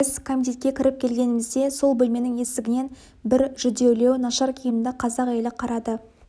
біз комитетке кіріп келгенімізде сол бөлменің есігінен бір жүдеулеу нашар киімді қазақ әйелі қарады